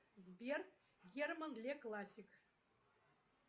сбер герман ле классик